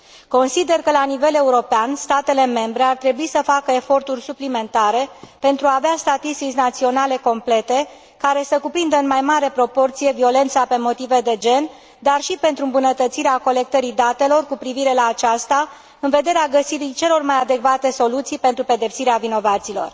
Consider că, la nivel european, statele membre ar trebui să facă eforturi suplimentare pentru a avea statistici naționale complete, care să cuprindă în mai mare proporție violența pe motive de gen, dar și pentru îmbunătățirea colectării datelor cu privire la aceasta, în vederea găsirii celor mai adecvate soluții pentru pedepsirea vinovaților.